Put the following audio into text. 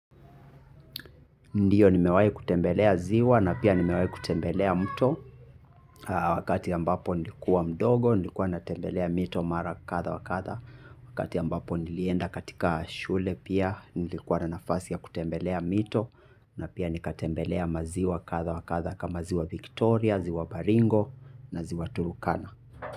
Ndiyo nimewahi kutembelea ziwa na pia nimewahi kutembelea mto. Wakati ambapo nilikuwa mdogo, nilikuwa natembelea mito mara kadhaa wa kadha. Wakati ambapo nilienda katika shule pia nilikuwa na nafasi ya kutembelea mito. Na pia nikatembelea maziwa kadha wa kadha kama ziwa Viktoria, ziwa Baringo na ziwa Turkana.